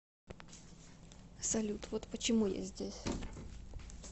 салют вот почему я здесь